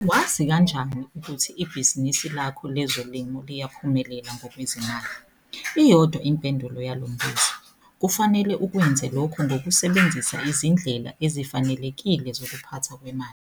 Wazi kanjani ukuthi ibhizinisi lakho lezolimo liyaphumelela ngokwezimali? Iyodwa impendula yalo mbuzo - kufanele ukwenze lokho ngokusebenzisa izindlela ezifanelekile zokuphathwa kwemali.